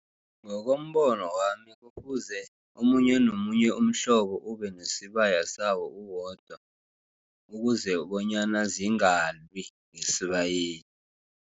Ngokombono wami kufuze omunye nomunye umhlobo, ubenesibaya sawo uwodwa, ukuze bonyana zingalwi ngesibayeni.